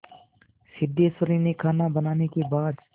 सिद्धेश्वरी ने खाना बनाने के बाद